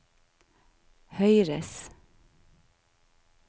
høyres